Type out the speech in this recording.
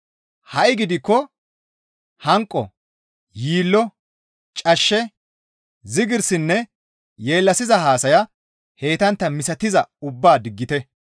Ha7i gidikko hanqo, yiillo, cashshe, zigirsinne yeellasiza haasaya heytantta misatizayta ubbaa diggite.